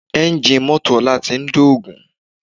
Ẹ́ńjì mọ́tò ọlá ti ń dògún